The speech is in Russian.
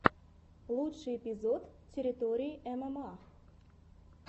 лучший эпизод территории мма